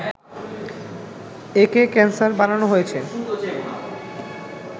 একে ক্যানসার বানানো হয়েছে